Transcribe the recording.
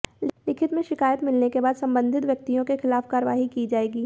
लिखित में शिकायत मिलने के बाद संबंधित व्यक्तियों के खिलाफ कार्रवाई की जाएगी